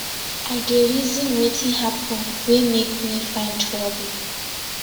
i dey reason wetin happen wey make me find trouble